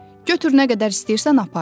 Götür, nə qədər istəyirsən apar.